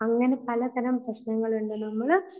അങ്ങനെ പലതരം പ്രശ്നങ്ങൾ ഉണ്ട്. നമ്മൾ